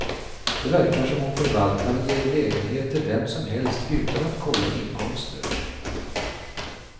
Det verkar som om förvaltaren ger lägenhet till vem som helst utan att kolla inkomster.